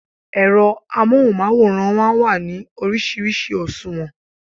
Ẹ̀rọ amóhùnmáwòrán máa ń wà ní oríṣiríṣi òṣùwọ̀n